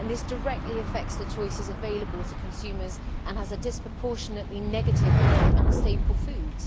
This directly affects the choices available to consumers and has a disproportionately negative impact on staple foods.